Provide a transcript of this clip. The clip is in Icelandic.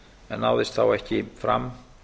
en náðist þá ekki fram